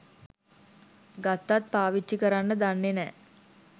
ගත්තත් පාවිච්චි කරන්න දන්නෙ නෑ.